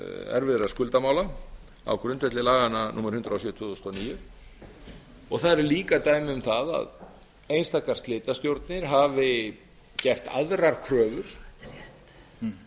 erfiðra skuldamála á grundvelli laganna númer hundrað og sjö tvö þúsund og níu og það eru líka dæmi um það að einstakar slitastjórnir hafi gert aðrar kröfur um